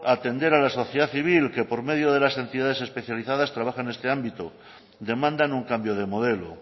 atender a la sociedad civil que por medio de las entidades especializadas trabaja en este ámbito demandan un cambio de modelo